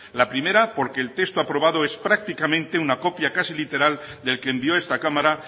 la primera porque el texto aprobado es prácticamente una copia casi literal del que envió esta cámara